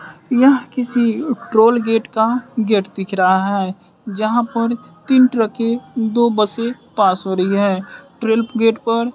यह किसी toll gate का गेट दिख रहा है यहां पर तीन ट्रके दो बसें पास हो रही है ट्रेल गेट पर--